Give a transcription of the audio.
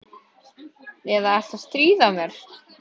Eða ertu að stríða mér?